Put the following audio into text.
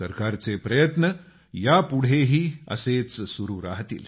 सरकारचे प्रयत्न यापुढेही असेच सुरू राहतील